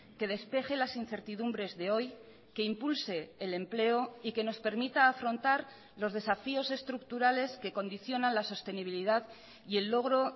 que despeje las incertidumbres de hoy que impulse el empleo y que nos permita afrontar los desafíos estructurales que condicionan la sostenibilidad y el logro